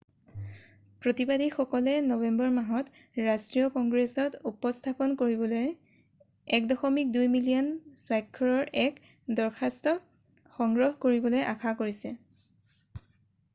প্ৰতিবাদীসকলে নৱেম্বৰ মাহত ৰাষ্ট্ৰীয় কংগ্ৰেছত উপস্থাপন কৰিবলৈ 1.2 মিলিয়ন স্বাক্ষৰৰ এক দৰখাস্তক সংগ্ৰহ কৰিবলৈ আশা কৰিছে৷